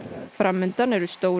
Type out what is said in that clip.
fram undan eru stór